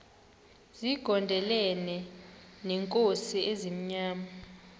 zigondelene neenkosi ezimnyama